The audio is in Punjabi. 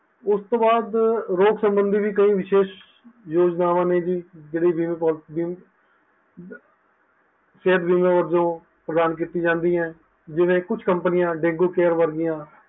ਉਸ ਤੋਂ ਬਾਅਦ ਰੋਗ ਸਬੰਦੀ ਵੀ ਕਈ ਵਿਸ਼ੇਸ਼ ਯੋਜਨਾਵਾਂ ਨੇ ਜੀ ਜੋ ਕਈ ਜੀਵਨ ਸਿਹਤ ਬੀਮਾ ਵਜੋਂ ਪ੍ਰਦਾਨ ਕੀਤੀਆਂ ਜਾਂਦੀਆਂ ਜਿਵੇ ਕੁਛ companies ਡੇਂਗੂ care ਵਰਗੀਆਂ